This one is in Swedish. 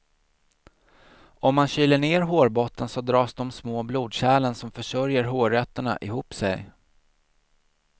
Om man kyler ned hårbotten så dras de små blodkärlen som försörjer hårrötterna ihop sig.